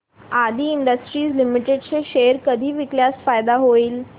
आदी industries limited चे share कधी विकल्यास फायदा होईल